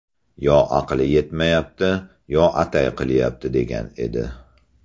Yo aqli yetmayapti, yo atay qilyapti”, degan edi.